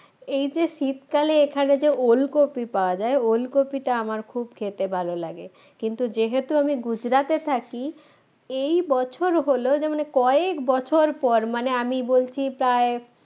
এই যে শীতকালে এখানে যে ওলকপি পাওয়া যায় ওলকপিটা আমার খুব খেতে ভালো লাগে কিন্তু যেহেতু আমি গুজরাটে থাকি এই বছর হল যে মানে কয়েক বছর পর আমি বলছি প্রায়